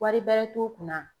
Wari bɛrɛ t'u kunna